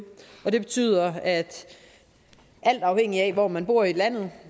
og det betyder alt afhængig af hvor man bor i landet